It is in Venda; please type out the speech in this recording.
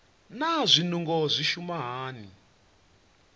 naa zwinungo zwi shuma hani